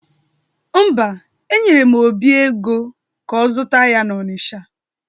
Mba, enyere m Obi ego ka ọ zụta ya n'Ọnisha